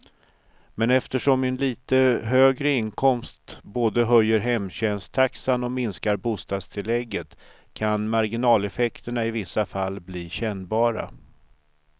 Men eftersom en lite högre inkomst både höjer hemtjänsttaxan och minskar bostadstillägget kan marginaleffekterna i vissa fall bli kännbara.